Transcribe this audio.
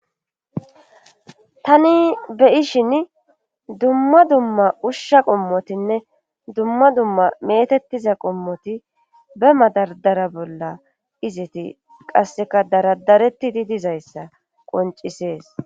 tani beishin dumma dumma ushsha qommotinne dumma dumma metettiza qommoti be madardara bolla iziti qasseka daradaretti di dizayssa qoncisees